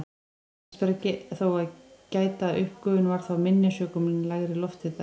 En þess ber þó að gæta að uppgufun var þá minni sökum lægri lofthita.